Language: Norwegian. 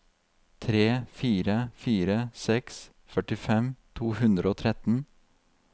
tre fire fire seks førtifem to hundre og tretten